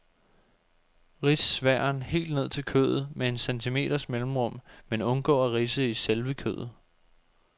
Rids sværen helt ned til kødet med en centimeters mellemrum, men undgå at ridse i selve kødet.